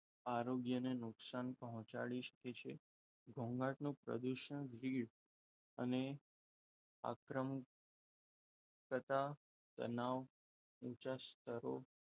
આરોગ્યની નુકસાન પહોંચાડી શકે છે. ઘોંઘાટનો પ્રદૂષણ ભીડ અને આક્રમ તથા તનાવ ઊંચા સ્તરો,